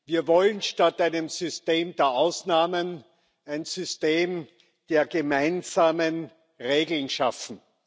Wir wollen statt einem System der Ausnahmen ein System der gemeinsamen Regeln schaffen.